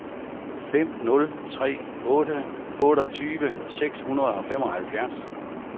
fem nul tre otte otteogtyve seks hundrede og femoghalvfjerds